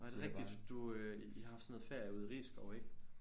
Nåh det er rigtigt du øh I har haft sådan noget ferie ude i Risskov ik